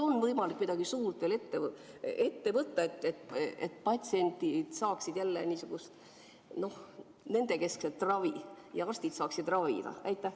Kas on võimalik midagi suurt veel ette võtta, et patsiendid saaksid jälle nendekeskset ravi ja arstid saaksid ravida?